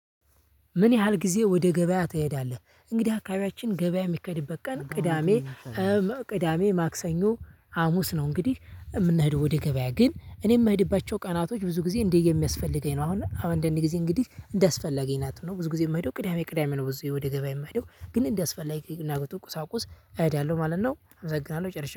ምን ያህል ጊዜ ወደ ገበያ ትሄዳለህ? እንግዲህ አካባቢያችን ገበያ የሚከድበት ቀን ቅዳሜ። ቅዳሜ ማክሰኞ ሀሙስ ነው እንግዲህ የምንሄደው ወደ ገበያ ግን እኔ የምሄድባቸው ቀናቶች ብዙ ጊዜ እንደዬ የሚያስፈልገኝ ነው። አሁን አሁን አንዳንዴ ጊዜ እንግዲህ እንዳስፈለገኝ ናት ነው። ብዙ ጊዜ የምሄደው ቅዳሜ ቅዳሜ ነው። ብዙ ጊዜ ወደ ገበያ የምሄደው ግን እንዲያስፈላጊ እና ቁሳቁስ እሄዳለሁ ማለት ነው። አመሰግናለሁ ጨርሻለሁ